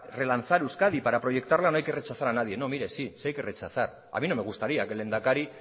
relanzar euskadi para proyectarla no hay que rechazar a nadie no mire sí sí hay que rechazar a mí no me gustaría que el lehendakari